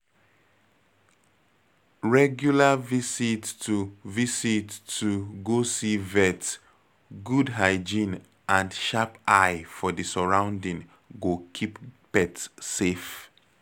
Regular visit to visit to go see vet, good hygiene and sharp eye for di sorrounding go keep pet safe